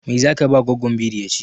Meye zaka ba goggon biri ya ci?